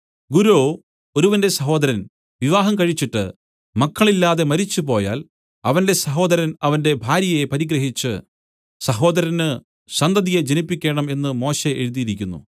ഗുരോ ഒരുവന്റെ സഹോദരൻ വിവാഹം കഴിച്ചിട്ട് മക്കളില്ലാതെ മരിച്ചുപോയാൽ അവന്റെ സഹോദരൻ അവന്റെ ഭാര്യയെ പരിഗ്രഹിച്ച് സഹോദരന് സന്തതിയെ ജനിപ്പിക്കേണം എന്നു മോശെ എഴുതിയിരിക്കുന്നു